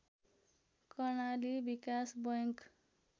Karnali Bikas bank